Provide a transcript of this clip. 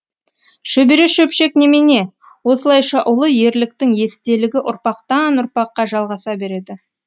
шөбере шөпшек немене осылайша ұлы ерліктің естелігі ұрпақтан ұрпаққа жалғаса береді